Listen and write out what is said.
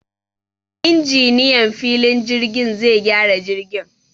Injiniyan filin jirgin zai gyara jirgin